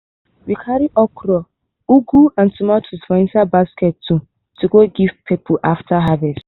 we do small chop chop with yam wey we roast to mark our first harvest. first harvest.